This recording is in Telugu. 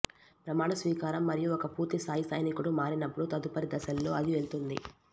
ప్రమాణ స్వీకారం మరియు ఒక పూర్తి స్థాయి సైనికుడు మారినప్పుడు తదుపరి దశలో అది వెళ్తుంది